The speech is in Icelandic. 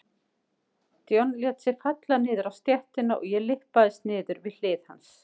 John lét sig falla niður á stéttina og ég lyppaðist niður við hlið hans.